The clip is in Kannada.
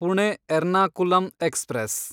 ಪುಣೆ ಎರ್ನಾಕುಲಂ ಎಕ್ಸ್‌ಪ್ರೆಸ್